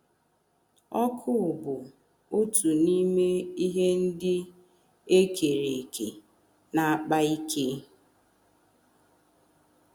Ọkụ bụ otu n’ime ihe ndị e kere eke na - akpa ike.